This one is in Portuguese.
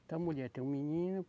Essa mulher tem um menino.